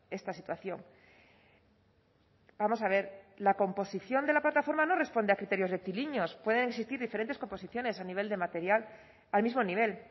esta situación vamos a ver la composición de la plataforma no responde a criterios rectilíneos pueden existir diferentes composiciones a nivel de material al mismo nivel